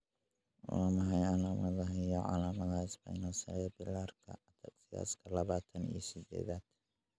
Waa maxay calaamadaha iyo calaamadaha Spinocerebellarka ataxiaka labatan iyo sidedad?